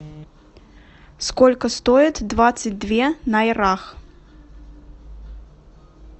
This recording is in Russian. сколько стоит двадцать две найрах